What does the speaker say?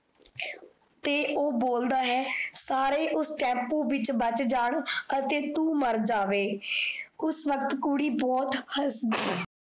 ਤੇ ਓਹ ਬੋਲਦਾ ਹੈ, ਸਾਰੇ ਉਸ ਟੈਂਪੂ ਵਿੱਚ ਬਚ ਜਾਣ ਅਤੇ ਤੂ ਮਰ ਜਾਵੇ ਉਸ ਵੱਕਤ ਕੁੜੀ ਬਹੁਤ ਹਸਦੀ ਹੈ।